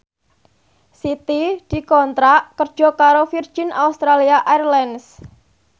Siti dikontrak kerja karo Virgin Australia Airlines